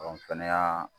kɛnɛya